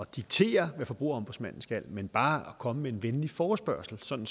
diktere hvad forbrugerombudsmanden skal men bare komme med en venlig forespørgsel sådan